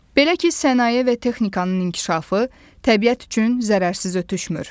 Belə ki, sənaye və texnikanın inkişafı təbiət üçün zərərsiz ötüşmür.